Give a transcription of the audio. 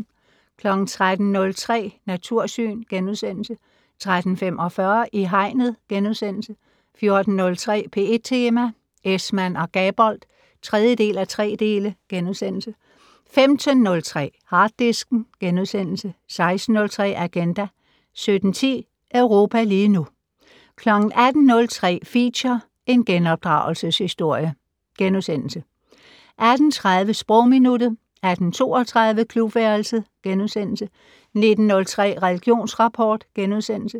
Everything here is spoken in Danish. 13:03: Natursyn * 13:45: I Hegnet * 14:03: P1 Tema: Esmann og Gabold (3:3)* 15:03: Harddisken * 16:03: Agenda 17:10: Europa lige nu 18:03: Feature: En genopdragelses-historie * 18:30: Sprogminuttet 18:32: Klubværelset * 19:03: Religionsrapport *